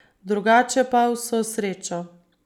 Drugače pa vso srečo.